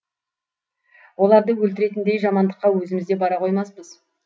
оларды өлтіретіндей жамандыққа өзіміз де бара қоймаспыз